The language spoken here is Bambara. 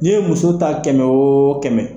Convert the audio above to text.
N'i ye muso ta kɛmɛ o kɛmɛ